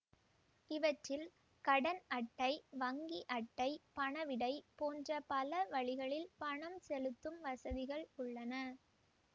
இவற்றில் கடன் அட்டை வங்கி அட்டை பணவிடை போன்ற பலவழிகளில் பணம் செலுத்தும் வசதிகள் உள்ளன